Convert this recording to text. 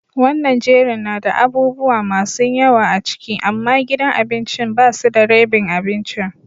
Wanan jerin na da abubuwa masun yawa a ciki, amma gidan abincin ba su da rebin abincin.